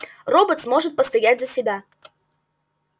роботс может постоять за себя